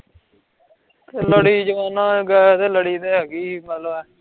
ਲੜੀ ਜਵਾਨਾਂ, ਗਏ ਤੇ ਲੜੀ ਹੈਗੀ